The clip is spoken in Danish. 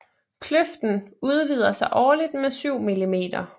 Kløften udvider sig årligt med syv millimeter